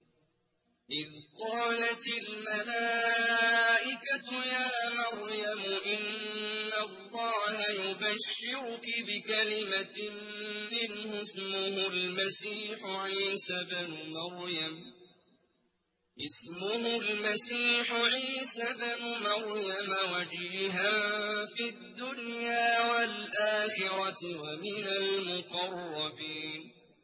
إِذْ قَالَتِ الْمَلَائِكَةُ يَا مَرْيَمُ إِنَّ اللَّهَ يُبَشِّرُكِ بِكَلِمَةٍ مِّنْهُ اسْمُهُ الْمَسِيحُ عِيسَى ابْنُ مَرْيَمَ وَجِيهًا فِي الدُّنْيَا وَالْآخِرَةِ وَمِنَ الْمُقَرَّبِينَ